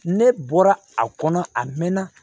Ne bɔra a kɔnɔ a mɛɛnna